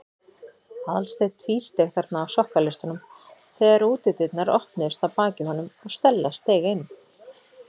Aðalsteinn tvísteig þarna á sokkaleistunum þegar útidyrnar opnuðust að baki honum og Stella steig inn.